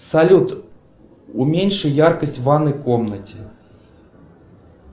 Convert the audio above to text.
салют уменьши яркость в ванной комнате